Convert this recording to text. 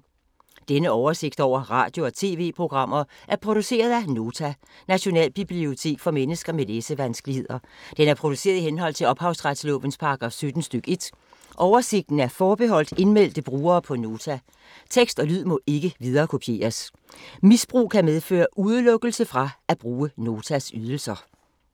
Denne oversigt over radio og TV-programmer er produceret af Nota, Nationalbibliotek for mennesker med læsevanskeligheder. Den er produceret i henhold til ophavsretslovens paragraf 17 stk. 1. Oversigten er forbeholdt indmeldte brugere på Nota. Tekst og lyd må ikke viderekopieres. Misbrug kan medføre udelukkelse fra at bruge Notas ydelser.